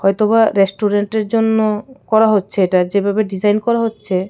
হয়তো বা রেস্টুরেন্টের জন্য করা হচ্ছে এটা যেভাবে ডিজাইন করা হচ্ছে .